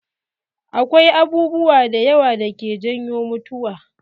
Akwai abubuwa da yawa dake janyo mutuwa.